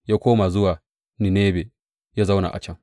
Ya koma zuwa Ninebe ya zauna a can.